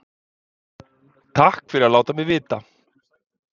Takk fyrir að láta mig vita